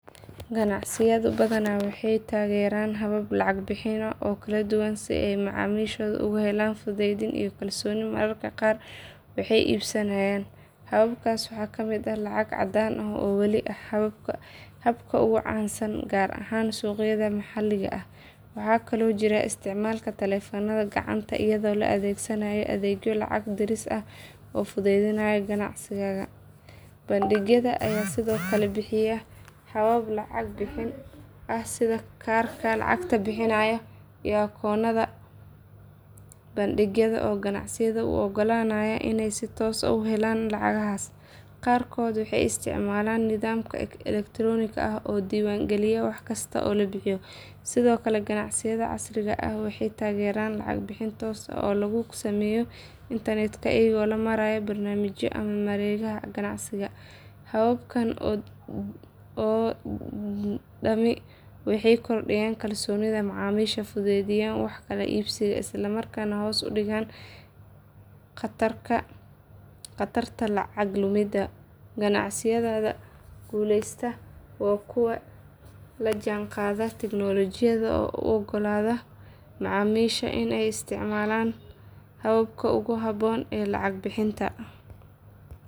Ganacsiyadu badanaa waxay taageeraan habab lacag bixin oo kala duwan si ay macaamiishu ugu helaan fudayd iyo kalsooni marka ay wax iibsanayaan. Hababkaas waxaa ka mid ah lacag caddaan ah oo weli ah habka ugu caansan gaar ahaan suuqyada maxaliga ah. Waxaa kaloo jira isticmaalka taleefannada gacanta iyadoo la adeegsanayo adeegyo lacag diris ah oo fududeynaya ganacsiga. Bangiyada ayaa sidoo kale bixiya habab lacag bixin ah sida kaararka lacag bixinta iyo akoonnada bangiyada oo ganacsiyada u oggolaanaya inay si toos ah u helaan lacagaha. Qaarkood waxay isticmaalaan nidaam elektaroonik ah oo diiwaan gelinaya wax kasta oo la bixiyo. Sidoo kale ganacsiyada casriga ah waxay taageeraan lacag bixin toos ah oo lagu sameeyo internetka iyadoo loo marayo barnaamijyo ama mareegaha ganacsiga. Hababkan oo dhami waxay kordhiyaan kalsoonida macaamiisha, fududeeyaan wax kala iibsiga, islamarkaana hoos u dhigaan khatarta lacag lumidda. Ganacsiyada guuleysta waa kuwa la jaanqaada tignoolajiyada oo u oggolaada macaamiisha inay isticmaalaan habka ugu habboon ee lacag bixinta.